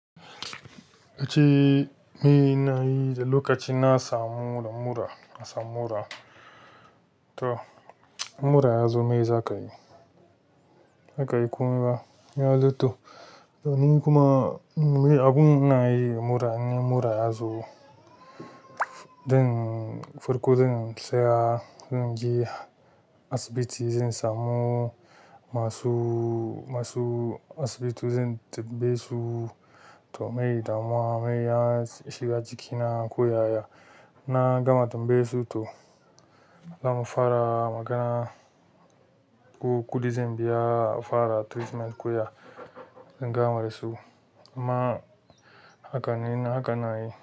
Yace me na yi da lokaci na samu mura, na samu mura. To mura yazo me za ka yi? Ba za kayi komai ba ya zo to to ni kuma abun ina yi in mura ya zo zan farko zan tsaya, zan je asibiti zan samu masu, masu asibiti zan tambaye su to me damuwa me ya shiga jikina ko yaya na gama tambaye su to zamu fara magana. Ko kuɗi zan biya fara treatment ko ya zan gama da su. Amma haka ne haka ina yi.